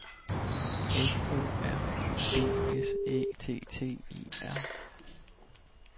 F O R U D S Æ T T E R